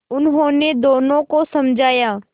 उन्होंने दोनों को समझाया